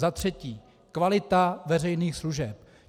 Za třetí kvalita veřejných služeb.